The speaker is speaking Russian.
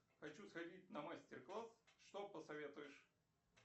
хочу сходить на мастер класс что посоветуешь